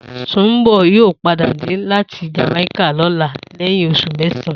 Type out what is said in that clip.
Sùnḿbò̩ yóò padà dé láti Jàmáíkà lóla lé̩yìn os̩ù mé̩sàn-án